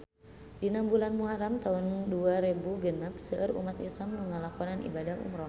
Dina bulan Muharam taun dua rebu genep seueur umat islam nu ngalakonan ibadah umrah